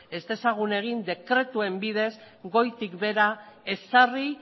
ez dezagun egin dekretuen bidez goitik behera ezarri